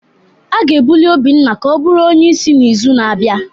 A ga-ebuli Obinna ka ọ bụrụ onye isi n'izu na-abịa